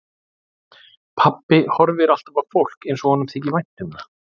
Pabbi horfir alltaf á fólk eins og honum þyki vænt um það.